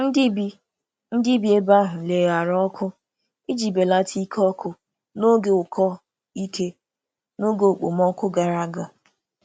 Ndị bi Ndị bi ebe ahụ leghaara oku iji belata ike ọkụ n'oge ụkọ ike n'oge okpomọkụ gara aga.